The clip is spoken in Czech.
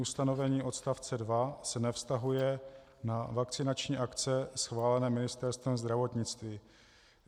Ustanovení odstavce 2 se nevztahuje na vakcinační akce schválené Ministerstvem zdravotnictví."